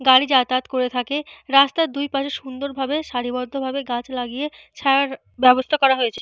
গাড়ি যাতায়াত করে থাকে। রাস্তার দুইপাশে সুন্দর ভাবে সারিবদ্ধ ভাবে গাছ লাগিয়ে ছায়ার ব্যবস্থা করা হয়েছে।